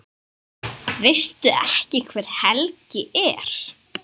Veistu ekki hver Helgi er?